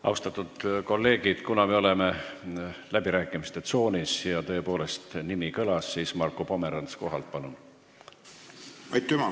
Austatud kolleegid, kuna me oleme läbirääkimiste tsoonis ja nimi tõepoolest kõlas, siis Marko Pomerants kohalt, palun!